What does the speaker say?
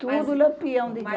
Tudo Lampião de gás.